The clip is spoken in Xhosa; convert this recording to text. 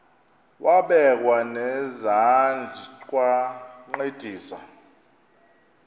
wabekwa nezandls wancedisa